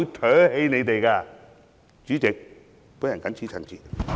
代理主席，我謹此陳辭。